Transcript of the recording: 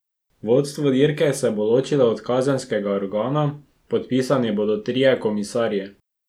Vodstvo dirke se bo ločilo od kazenskega organa, podpisani bodo trije komisarji.